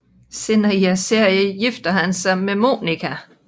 Senere i serien gifter han sig med Monica